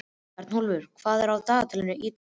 Örnólfur, hvað er á dagatalinu í dag?